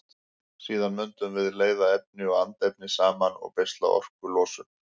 Síðan mundum við leiða efni og andefni saman og beisla orkulosunina.